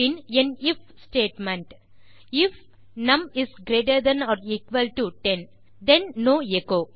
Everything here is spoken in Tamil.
பின் என் if statement if num is greater than or equal to 10 then no echo